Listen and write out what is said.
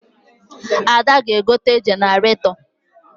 Ada ga-egote jeneratọ